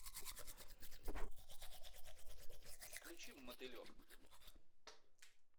включи мотылек